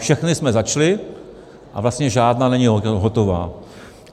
Všechny jsme začali a vlastně žádná není hotová.